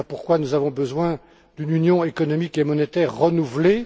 Voilà pourquoi nous avons besoin d'une Union économique et monétaire renouvelée.